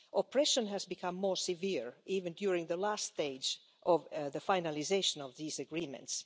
Oppression has become more severe even during the last stage of the finalisation of these agreements.